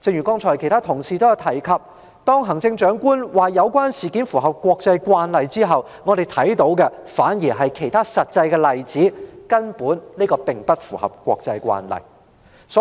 剛才其他同事也提及，行政長官表示有關事件符合國際慣例後，我們發現有其他實際例子，證明這事並不符合國際慣例。